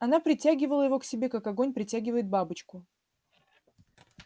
она притягивала его к себе как огонь притягивает бабочку